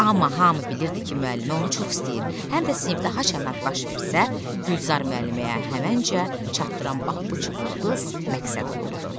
Amma hamı bilirdi ki, müəllimə onu çox istəyir, həm də sinifdə haçan nə baş versə, Gülzar müəlliməyə həməncə çatdıran bax bu çubul ulduz məqsəd olurdu.